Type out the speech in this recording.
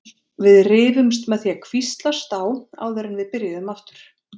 Við rifumst með því að hvíslast á áður en við byrjuðum aftur.